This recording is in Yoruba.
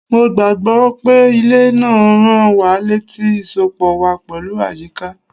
Mo gbà gbọ́ pé ilẹ̀ náà ń rán wa létí ìsopọ̀ wa pẹ̀lú àyíká.